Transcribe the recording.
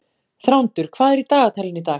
Þrándur, hvað er í dagatalinu í dag?